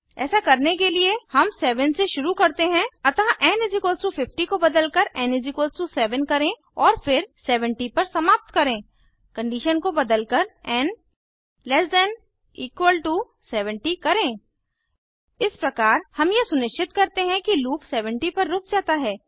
ऐसा करने के लिए हम 7 से शुरू करते हैं अतः एन 50 को बदलकर एन 7 करें और फिर 70 पर समाप्त करें कंडीशन को बदलकर N less than equal to 70 करें इस प्रकार हम यह सुनिश्चित करते हैं कि लूप 70 पर रुक जाता है